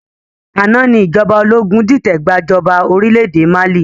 Àná ni ìjọba ológun dìtẹ̀ gbà jọba orílédé Mali